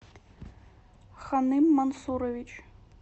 ханым мансурович